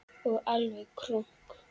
Og alveg krunk!